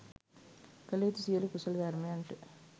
කළ යුතු සියලු කුසල ධර්මයන්ට